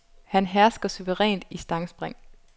Han hersker suverænt i stangspring.